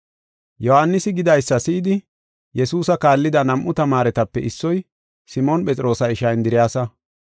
Yohaanisi gidaysa si7idi, Yesuusa kaallida nam7u tamaaretape issoy, Simoon Phexroosa ishaa Indiriyasa.